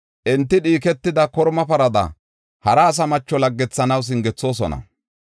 Enti dhiiketida korma parada, hara asa macho laggethanaw singethoosona.